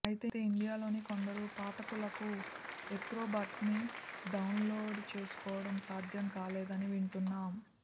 ఐతే ఇండియాలోని కొందరు పాఠకులకు ఏక్రొబాట్ని డౌన్లోడ్ చేసుకోవటం సాధ్యం కాలేదని వింటున్నాం